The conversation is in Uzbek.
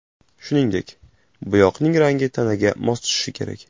Shuningdek, bo‘yoqning rangi tanaga mos tushishi kerak.